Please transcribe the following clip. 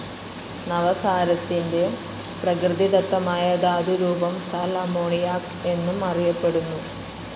നവസാരത്തിന്റെ പ്രകൃതിദത്തമായ ധാതു രൂപം സാൽ അമോണിയാക് എന്നും അറിയപ്പെടുന്നു.